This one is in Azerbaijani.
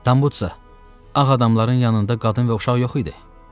Tambuza, ağ adamların yanında qadın və uşaq yox idi?